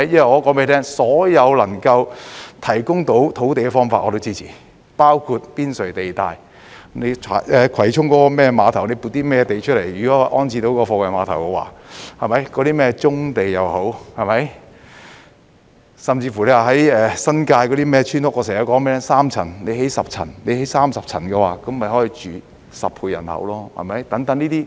我告訴你，所有能夠提供土地的方法我都支持，包括郊野公園邊陲地帶，葵涌貨櫃碼頭——只要能撥出土地安置貨櫃碼頭，棕地，甚至新界村屋——我經常說該等村屋只有3層，若興建10層、30層，便可容納10倍人口居住。